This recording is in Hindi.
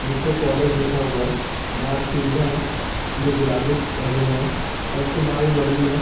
जिसपे कॉलेज लिखा हुआ है। बाहर सीढियाँ है जो गुलाबीक रंग में है और उसके बाहर जो ज़मीन है--